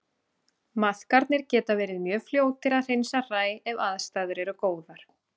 Maðkarnir geta verið mjög fljótir að hreinsa hræ ef aðstæður eru góðar.